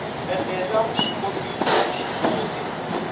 ene la vuswikoti bya vuswikoti